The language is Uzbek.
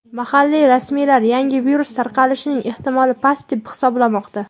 Mahalliy rasmiylar yangi virus tarqalishining ehtimoli past deb hisoblamoqda.